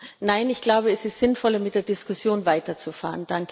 Nein, ich glaube, es ist sinnvoller, mit der Diskussion weiterzufahren.